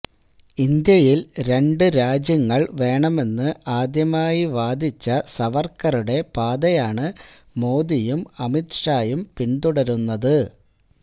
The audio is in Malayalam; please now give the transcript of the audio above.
ഇന്ത്യയിൽ രണ്ട് രാജ്യങ്ങൾ വേണമെന്ന് ആദ്യമായി വാദിച്ച സവർക്കറുടെ പാതയാണ് മോദിയും അമിത്ഷായും പിന്തുടരുന്നത്